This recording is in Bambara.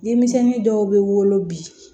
Denmisɛnnin dɔw bɛ wolo bi